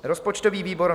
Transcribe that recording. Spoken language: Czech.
"Rozpočtový výbor